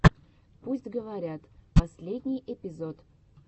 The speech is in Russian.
пусть говорят последний эпизод